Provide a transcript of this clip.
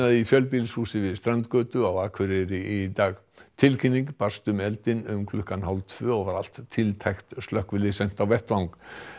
í fjölbýlishúsi við strandgötu á Akureyri í dag tilkynning barst um eldinn um klukkan hálf tvö og var allt tiltækt slökkvilið sent á vettvang